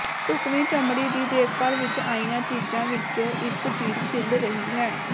ਢੁਕਵੀਂ ਚਮੜੀ ਦੀ ਦੇਖਭਾਲ ਵਿਚ ਆਈਆਂ ਚੀਜਾਂ ਵਿਚੋਂ ਇਕ ਚੀਜ਼ ਛਿੱਲ ਰਹੀ ਹੈ